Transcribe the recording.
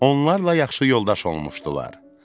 Onlarla yaxşı yoldaş olmuşdular.